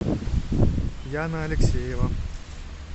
яна алексеева